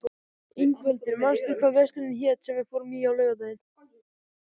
Ingveldur, manstu hvað verslunin hét sem við fórum í á laugardaginn?